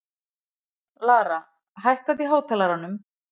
Lara, hækkaðu í hátalaranum.